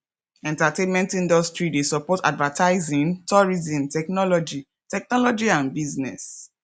entertainment industry de support advertising tourism technology technology and business